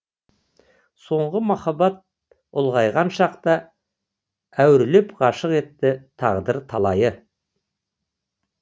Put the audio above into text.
соңғы махаббат ұлғайған шақты әурелеп ғашық етті тағдыр талайы